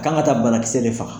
Kan ka taa banakisɛ de faga.